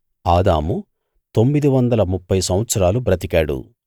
ఆదాము తొమ్మిది వందల ముప్ఫై సంవత్సరాలు బ్రతికాడు